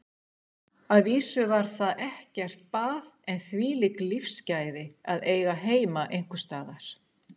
Að vísu var þar ekkert bað en þvílík lífsgæði að eiga heima einhvers staðar.